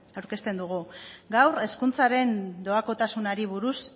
aurkezten dugu gaur hezkuntzaren doakotasunari buruzko